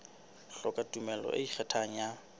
hloka tumello e ikgethang e